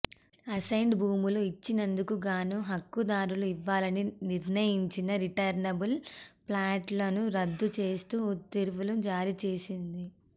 assigned భూములు ఇచ్చినందుకు గాను హక్కుదారులకు ఇవ్వాలని నిర్ణయించిన రిటర్నబుల్ ప్లాట్లను రద్దు చేస్తూ ఉత్తర్వులు జారీ చేసింది